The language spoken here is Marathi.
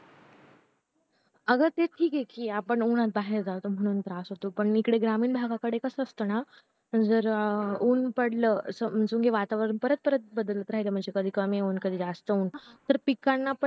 आग ते ठीक कि आपण उन्हात बाहेर जातो म्हणून त्याचा त्रास होतो पण इकडे ग्रामीण भागाकडे कास असत ना म्हणजे जर ऊन पडलं समजून घे वातावरण परत परत बद्द्लत राहील म्हणजे कधीं कमी होऊन कधी जास्त होऊन तर पिकांना